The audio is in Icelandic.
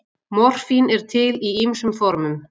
Morfín er til í ýmsum formum.